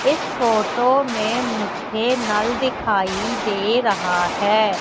इस फोटो में मुझे नल दिखाई दे रहा है।